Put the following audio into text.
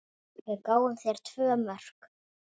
Við gáfum þeim tvö mörk.